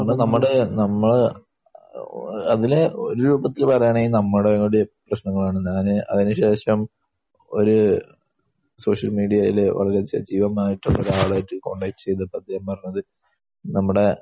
നമ്മൾ നമ്മുടെ നമ്മൾ അ...അതിനെ ഒരു രൂപത്തിൽ പറയുകയാണെങ്കിൽ നമ്മുടെ കൂടി പ്രശ്നങ്ങളാണ്. അതിനു ശേഷം ഒരു സോഷ്യൽ മീഡിയയിൽ ഒരു സജീവമായിട്ടുള്ളയൊരു ആളായിട്ട് കോൺടാക്ട് ചെയ്തിട്ട് അദ്ദേഹം പറഞ്ഞത് നമ്മുടെ